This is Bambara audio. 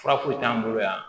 Fura foyi t'an bolo yan